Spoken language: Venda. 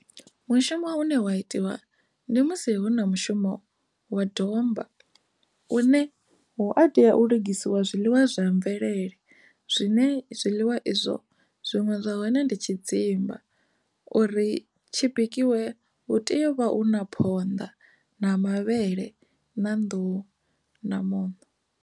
Mushumo une wa itiwa ndi musi hu na mushumo wa domba une hu a tea u lugisiwa zwiḽiwa zwa mvelele zwine zwiḽiwa izwi zwo zwiṅwe zwa hone ndi tshidzimba uri tshi bikiwa hu tea uvha hu na phonḓa na mavhele na nḓuhu na muṋo.